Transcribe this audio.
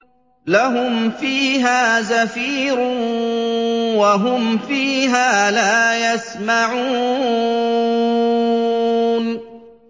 لَهُمْ فِيهَا زَفِيرٌ وَهُمْ فِيهَا لَا يَسْمَعُونَ